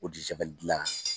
dilan